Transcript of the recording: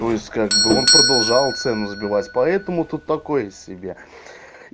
то есть как бы он продолжал цену сбивать поэтому тут такое себе